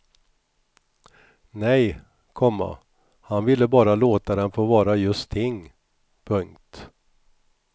Nej, komma han ville bara låta dem få vara just ting. punkt